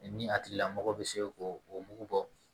ni a tigila mɔgɔ bɛ se ko o mugu bɔ